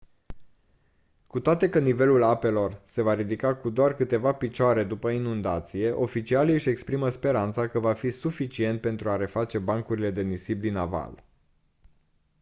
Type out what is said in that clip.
cu toate că nivelul apelor se va ridica cu doar câteva picioare după inundație oficialii își exprimă speranța că va fi suficient pentru a reface bancurile de nisip din aval